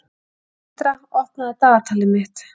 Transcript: Tindra, opnaðu dagatalið mitt.